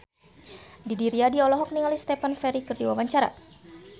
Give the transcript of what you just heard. Didi Riyadi olohok ningali Stephen Fry keur diwawancara